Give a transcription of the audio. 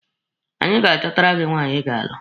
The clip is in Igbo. Anyị ga-achọtara gị nwaanyị Ị ga-alụ.